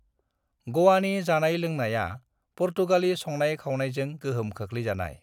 गोवानि जानाय-लोंनायआ पुर्तगाली संनाय-खावनायजों गोहोम खोख्लैजानाय।